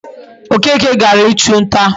Okeke gara ichu nta